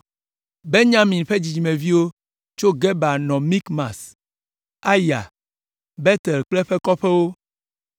Benyamin ƒe dzidzimeviwo tso Geba nɔ Mikmas, Aya, Betel kple eƒe kɔƒewo,